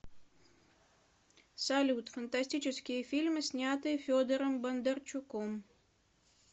салют фантастические фильмы снятые федором бондарчуком